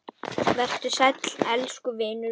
Vertu sæll elsku vinur minn.